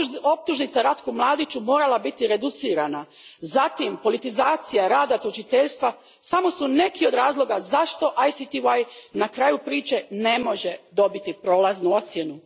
optužnica Ratku Mladiću morala biti reducirana, zatim politizacija rada tužiteljstva samo su neki od razloga zašto ICTY na kraju priče ne može dobiti prolaznu ocjenu.